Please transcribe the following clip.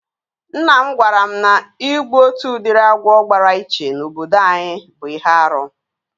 Nna m gwara m na igbu otu udiri agwọ gbara iche na obodo anyị bụ ihe árú